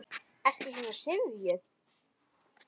Ertu svona syfjuð?